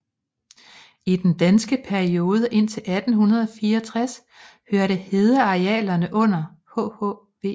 I den danske periode indtil 1864 hørte hedearealerne under hhv